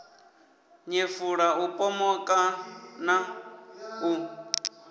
nyefula u pomoka na u